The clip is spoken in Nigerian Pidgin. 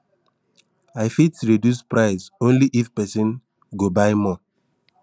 i fit reduce price only if person go buy more